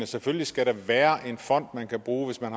selvfølgelig skal der være en fond man kan bruge hvis man